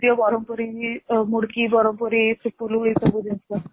ବାରାମପୁରୀ ମୁଡକି ବରମପୁରୀ ଏସବୁ ଜିନିଷ